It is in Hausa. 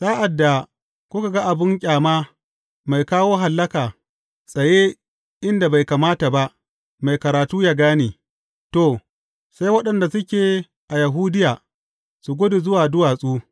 Sa’ad da kuka ga abin ƙyama, mai kawo hallaka’ tsaye inda bai kamata ba mai karatu ya gane, to, sai waɗanda suke a Yahudiya su gudu zuwa duwatsu.